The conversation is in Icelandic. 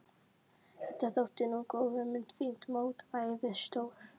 Þetta þótti nú góð hugmynd, fínt mótvægi við stór